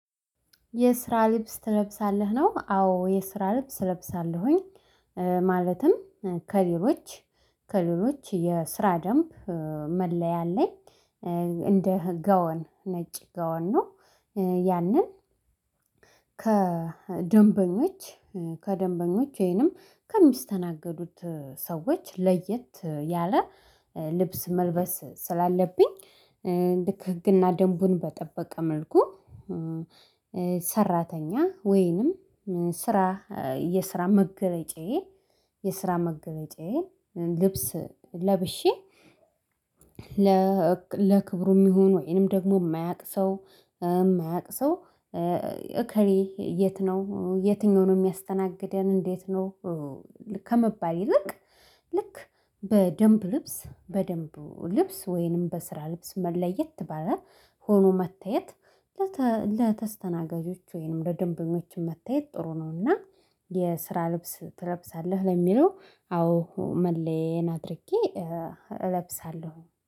የስራ ልብስ ትለብሳለህ ነው? አዎ የስራ ልብስ እለብሳለሁኝ። ማለትም ከሌሎች ከሌሎች የስራ ደንብ መለያ አለኝ እንደ ጋውን ነጭ ጋውን ነው። ያንን ከደንበኞች ከደንበኞች ወይንም ከሚስተናገዱት ሰዎች ለየት ያለ ልብስ መልበስ ስላለብኝ። ልክ ህግና ደንቡን በጠበቀ መልኩ። ሰራተኛ ወይንም ስራ የስራ መገለጫዬ የስራ መገለጫዬ ልብስ ለብሼ። ለክብሩ የሚሆኑ ወይንም ደግሞ የማያውቅ ሰው የማያውቅ ሰው እከሌ የት ነው የትኛው ነው የሚያስተናገደን እንዴት ነው? ከመባል ይልቅ ልክ በደንብ ልብስ በደንብ ልብስ ወይንም በስራ ልብስ ለየት ባላ ሆኖ መታየት። ለተስተናጋጆች ወይንም ለደንበኞች መታየት ጥሩ ነውና። የስራ ልብስ ትለብሳለህ? ለሚለው አዎ መለያየን አድርጌ እለብሳለሁ።